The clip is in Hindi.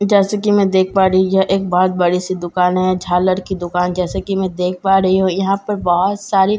जैसे कि मैं देख पा रही हूं यह एक बहुत बड़ी-सी दुकान है झालर की दुकान जैसे कि मैं देख पा रही हूं यहां पर बहुत सारी त--